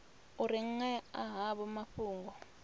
u ri ṅea havho mafhungo